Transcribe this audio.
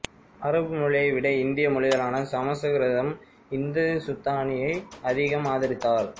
அரபு மொழியை விட இந்திய மொழிகளான சமசுகிருதம் இந்துசுத்தானியை அதிகம் ஆதரித்தார்